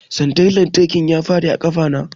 Sandar lantarki ya faɗi a ƙafa na